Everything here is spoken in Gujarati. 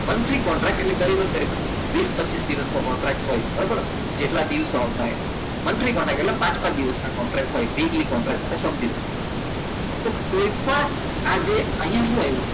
monthly કોન્ટ્રાક એટલે પછી વિસ પચિસ દિવસનો કોન્ટ્રાક્ટ હોય બરાબર જેટલા દિવસ આવતા હોય monthly monthly એટલે પાંચ પાંચ દિવસનો કોન્ટ્રાક્ટ તો કોઈપણ આજે અહીંયા